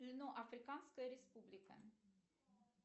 африканская республика